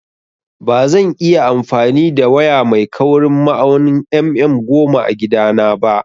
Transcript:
Bazan iya amfani da waya mai kaurin ma'aunin mm goma a gida na ba